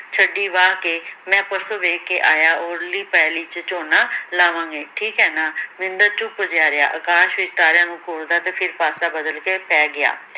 ਛੱਡੀ ਵਾਹ ਕੇ ਮੈਂ ਪਰਸੋ ਵੇਖ ਕੇ ਆਇਆ ਉਰਲੀ ਪੈਲੀ ਚ ਝੋਨਾ ਲਾਵਾਂਗੇ ਠੀਕ ਹੈ ਨਾ, ਮਹਿੰਦਰ ਚੁੱਪ ਜਿਹਾ ਰਿਹਾ ਅਕਾਸ਼ ਵਿੱਚ ਤਾਰਿਆਂ ਨੂੰ ਘੂਰਦਾ ਤੇ ਫਿਰ ਪਾਸਾ ਬਦਲ ਕੇ ਪੈ ਗਿਆ